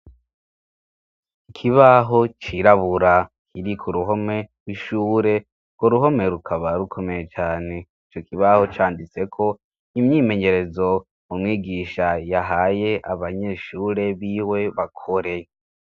Ikibaho cirabura kiri ku ruhome gw'ishure ugwo ruhome rukaba rukomeye cyane icyo kibaho canditseko imyimenyerezo umwigisha yahaye abanyeshure biwe bakore.